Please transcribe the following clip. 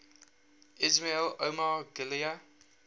ismail omar guelleh